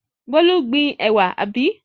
Bólú gbin ẹ̀wà, àbí?